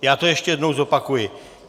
Já to ještě jednou zopakuji.